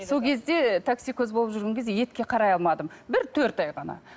сол кезде таксикоз болып жүрген кезде етке қарай алмадым бір төрт ай ғана